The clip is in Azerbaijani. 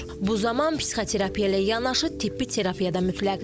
Bu zaman psixoterapiya ilə yanaşı tibbi terapiya da mütləqdir.